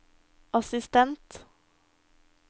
assistent